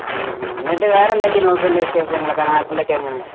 ഉം ഉം എന്നിട്ട് വേറെന്തൊക്കെയാണ് നൗഫലേ വിശേഷങ്ങള് നാട്ടിലൊക്കെ എങ്ങനെ